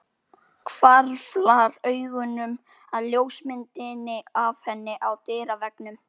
Hvarflar augunum að ljósmyndinni af henni á dyraveggnum.